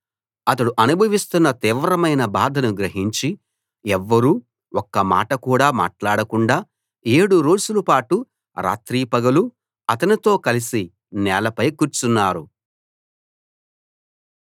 అతడు అనుభవిస్తున్న తీవ్రమైన బాధను గ్రహించి ఎవ్వరూ ఒక్క మాట కూడా మాట్లాడకుండా ఏడు రోజులపాటు రాత్రీ పగలూ అతనితో కలిసి నేలపై కూర్చున్నారు